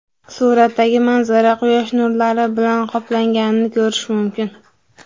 Suratdagi manzara quyosh nurlari bilan qoplanganini ko‘rish mumkin.